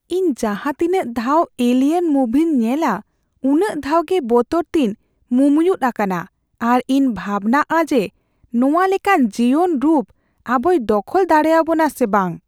ᱤᱧ ᱡᱟᱦᱟᱸ ᱛᱤᱱᱟᱹᱜ ᱫᱷᱟᱣ "ᱮᱞᱤᱭᱮᱱ" ᱢᱩᱵᱷᱤᱧ ᱧᱮᱞᱼᱟ ᱩᱱᱟᱜ ᱫᱷᱟᱣ ᱜᱮ ᱵᱚᱛᱚᱨᱛᱮᱧ ᱢᱩᱢᱭᱩᱛ ᱟᱠᱟᱱᱟ ᱟᱨ ᱤᱧ ᱵᱷᱟᱵᱽᱱᱟᱜᱼᱟ ᱡᱮ ᱱᱚᱶᱟ ᱞᱮᱠᱟᱱ ᱡᱤᱭᱚᱱ ᱨᱩᱯ ᱟᱵᱚᱭ ᱫᱚᱠᱷᱚᱞ ᱫᱟᱲᱮᱭᱟᱵᱚᱱᱟ ᱥᱮ ᱵᱟᱝ ᱾